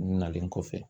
Nalen kɔfɛ